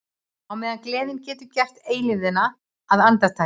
Á meðan gleðin getur gert eilífðina að andartaki.